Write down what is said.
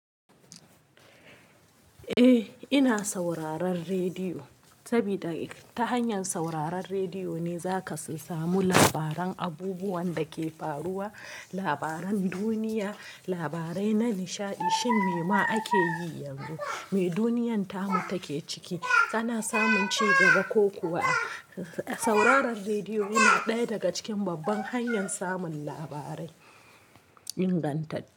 Eh, ina sauraron rediyo. Sabida ta hanyar sauraron rediyo ne za ka samu labaran abubuwan da ke faruwa, labaran duniya, labarai na nishaɗi, shin me ma ake yi yanzu, me duniyyar ta mu take ciki, ana samun cigaba ko kuwa. Sauraron rediyo yana ɗaya daga cikin babban hanyar samun labarai ingantacce.